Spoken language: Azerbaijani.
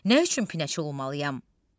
Nə üçün pinəçi olmalıyam?